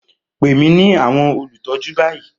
Pè mí ní àwọn olùtọ́jú báyìí!